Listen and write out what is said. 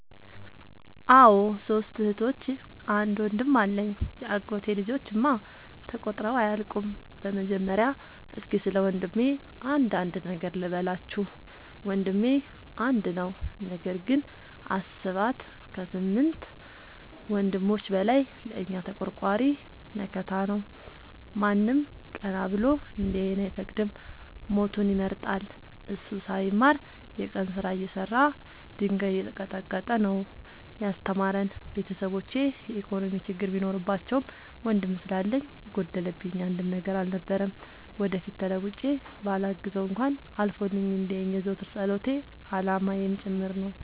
አዎ ሶስት እህቶች አንድ ወንድም አለኝ የአጎቴ ልጆች እማ ተቆጥረው አያልቁም። በመጀመሪያ እስኪ ስለወንድሜ አንዳንድ ነገር ልበላችሁ። ወንድሜ አንድ ነው ነገር ግን አሰባት ከስምንት ወንድሞች በላይ ለእኛ ተቆርቋሪ መከታ ነው። ማንም ቀና ብሎ እንዲያየን አይፈቅድም ሞቱን ይመርጣል። እሱ ሳይማር የቀን ስራ እየሰራ ድንጋይ እየቀጠቀጠ ነው። ያስተማረን ቤተሰቦቼ የኢኮኖሚ ችግር ቢኖርባቸውም ወንድም ስላለኝ የጎደለብኝ አንድም ነገር አልነበረም። ወደፊት ተለውጬ በላግዘው እንኳን አልፎልኝ እንዲየኝ የዘወትር ፀሎቴ አላማዬም ጭምር ነው።